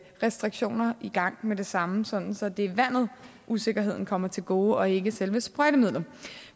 restriktioner i gang med det samme sådan sådan at usikkerheden kommer vandet til gode og ikke selve sprøjtemidlet